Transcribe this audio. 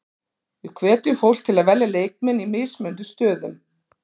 Við hvetjum fólk til að velja leikmenn í mismunandi stöðum.